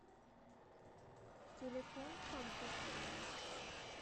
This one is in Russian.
телефон комфорт